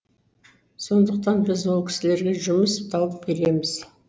сондықтан біз ол кісілерге жұмыс тауып береміз